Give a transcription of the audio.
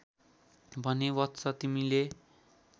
भने वत्स तिमीले